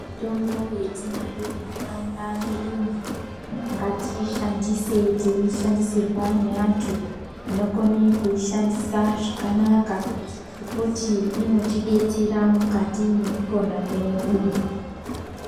Mitombo yatinayo mundaraunda medumwo ngatiishandise teishandisirwa neantu vanokona kuishandisa zvakanaka ngekuti inotidetsera mukati mwekupona kwedu.